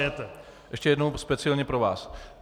Ještě jednou speciálně pro vás.